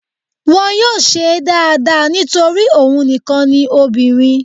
Wọn yóò ṣé é dáadáa nítorí òun nìkan ni obìnrin